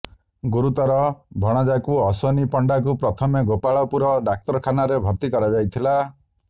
ଗୁରୁତର ଭଣଜାକୁ ଅଶ୍ବିନୀ ପଣ୍ଡାକୁ ପ୍ରଥମେ ଗୋପାଳପୁର ଡାକ୍ତରଖାନାରେ ଭର୍ତ୍ତି କରାଯାଇଥିଲା